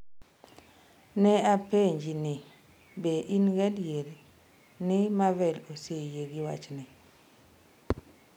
“Ne apenje ni “Be in gadier ni Marvel oseyie gi wachni?”